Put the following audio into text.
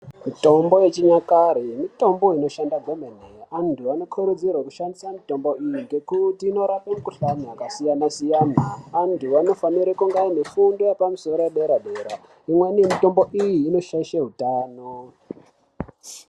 Mitombo yechinyakare mitombo inoshanda gwemene, antu anokurudzirwe kushandise mitombo iyi ngekuti inorape mikhuhlane yakasiyana-siyana, antu anofane kunge anefundo yepamusoro yedera-dera. Imweni yemitombo iyi inoshaishe utano.